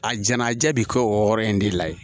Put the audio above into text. A jɛnajɛ bɛ kɛ o wɔɔrɔ in de la yen